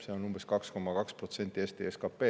See on umbes 2,2% Eesti SKP-st.